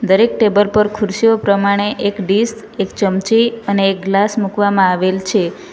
દરેક ટેબર પર ખુરશીઓ પ્રમાણે એક ડીશ એક ચમચી અને એક ગ્લાસ મૂકવામાં આવેલ છે.